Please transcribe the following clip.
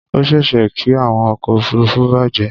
Ó ṣeéṣe kí àwọn ọkọ̀ òfuruufú bàjẹ́.